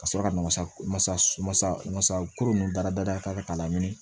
Ka sɔrɔ ka masa ko nunnu da da kan k'a laɲini